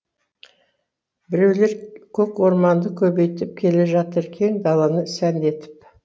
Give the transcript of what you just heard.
біреулер көк орманды көбейтіп келе жатыр кең даланы сәнді етіп